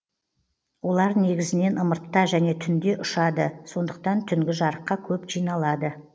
олар негізінен ымыртта және түнде ұшады сондықтан түнгі жарыққа көп жиналады